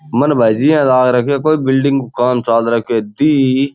मन भाईजी यान लाग राख्यो कोई बिल्डिंग को काम चाल राख्यो दी ई --